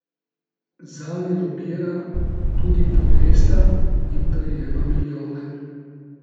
Zanje lobira tudi Podesta in prejema milijone.